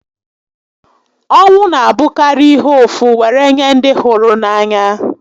Ọnwụ n'abụkarị ihe ụfụ were nye ndị hụrụ n'anya